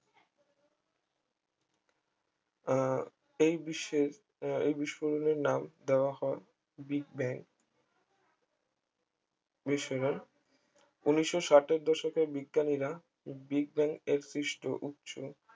আহ এই বিশ্বের এই বিস্ফোরণের নাম দেওয়া হয় বিগ ব্যাং বিশ্বরণ ঊনিশশো ষাট এর দশকে বিজ্ঞানীরা বিজ্ঞানী এক্সিস্ট উচ্চ